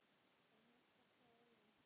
Það hjálpar hvað öðru.